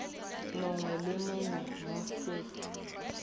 mongwe le mongwe mo set